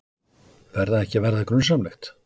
Fer það ekki að verða grunsamlegt?